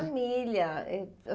Família eh.